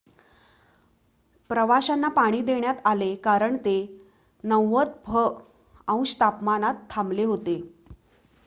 प्रवाशांना पाणी देण्यात आले कारण ते 90फ- अंश तापमानात थांबले होते